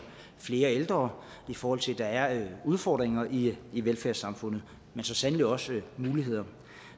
flere ældre og i forhold til at der er udfordringer i i velfærdssamfundet men så sandelig også muligheder